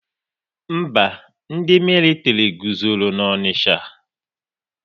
Mba, ndị militiri guzoro n'Onicha